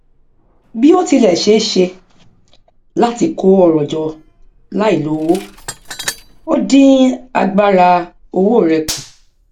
òun àti ẹgbẹ rẹ ṣe ètò láti dènà jalè iná àti dín àdánù kù